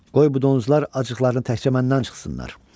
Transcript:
Qoy bu donuzlar acıqlarını təkcə məndən çıxsınlar.